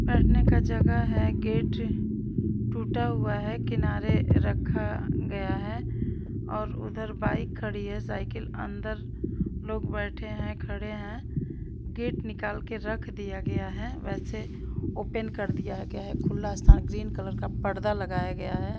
बैठने का जगह है गेट टूटा हुआ है किनारे रखा गया है और उधर बाइक खड़ी है साइकिल अंदर लोग बैठे हैं खड़े हैं गेट निकाल के रख दिया गया है वैसे ओपेन कर दिया गया है खुला सा ग्रीन कलर का पर्दा लगाया गया है।